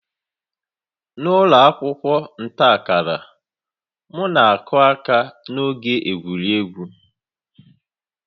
N'ụlọ akwụkwọ nta akara, m na-akụ aka n'oge egwuregwu